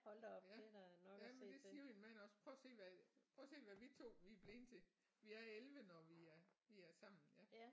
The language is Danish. Ja jamen det siger min mand også prøv at se hvad prøv at se hvad vi 2 vi er blevet til vi er 11 når vi er vi er sammen ja